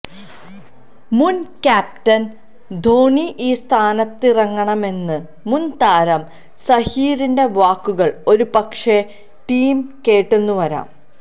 മുന് ക്യാപ്റ്റന് ധോണി ഈ സ്ഥാനത്തിറങ്ങണമെന്ന മുന് താരം സഹീറിന്റെ വാക്കുകള് ഒരുപക്ഷെ ടീം കേട്ടെന്നു വരാം